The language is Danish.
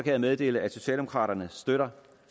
jeg meddele at socialdemokraterne støtter